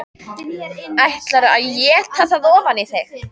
ÆTLARÐU AÐ ÉTA ÞAÐ OFAN Í ÞIG!